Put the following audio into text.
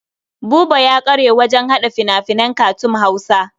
Buba ya ƙware wajen haɗa fina-finan katun na Hausa.